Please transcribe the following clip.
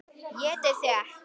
ÉTI ÞIG EKKI!